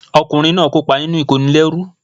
Ọkùnrin báa ń kópa nínú ìkónilẹ́rú